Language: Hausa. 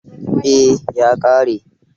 Eh, ya ƙare.